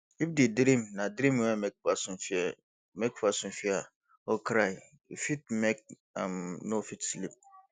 if di dream na dream wey make person fear make person fear or cry e fit make am no fit sleep